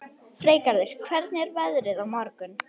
Það hefur aldrei verið mulið undir mig í lífinu.